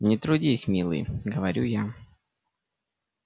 не трудись милый говорю я